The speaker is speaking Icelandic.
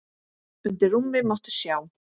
Undir rúmi mátti sjá.